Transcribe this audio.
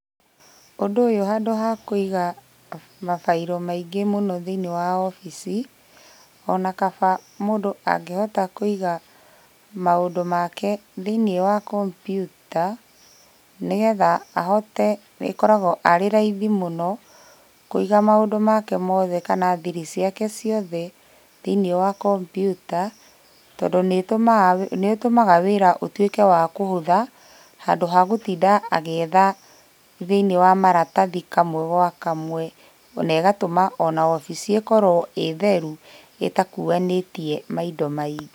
Ũndũ ũyũ handũ ha kũiga mafairũ maingĩ mũno thĩiniĩ wa obici, ona kaba mũndũ angĩhota kũiga maũndũ make thĩiniĩ wa kombiuta, nĩgetha ahote, ĩkoragwo arĩ raithi mũno kũiga maũndũ make mothe kana thiri ciake ciothe thĩiniĩ wa kombiuta, tondũ nĩtũmaga nĩtũmaga wĩra ũtuĩke wa kũhũtha, handũ ha gũtinda agĩetha thĩiniĩ wa maratathi kamwe gwa kamwe. Ona ĩgatũma ona obici ĩkorwo ĩtheru ĩtakuanĩtie maindo maingĩ.